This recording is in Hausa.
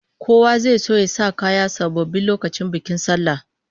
Kowa zai so ya sa kaya sababbi lokacin bikin sallah